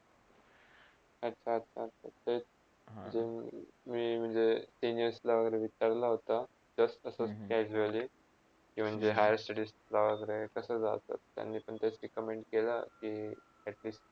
आता आता तर हम्म के मी म्हणजे senior वैगरे विचारला होता just सध्या evaluate किवा म्हणजे higher study वागेरे कसे जायचा त्यांनी पण हेच recommend केला कि atleast